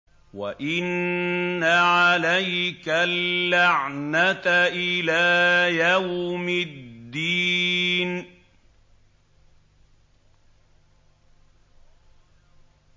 وَإِنَّ عَلَيْكَ اللَّعْنَةَ إِلَىٰ يَوْمِ الدِّينِ